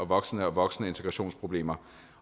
voksende og voksende integrationsproblemer